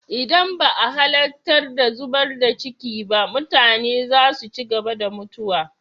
Idan ba a halattar zubar da ciki ba, mutane za su ci gaba da mutuwa.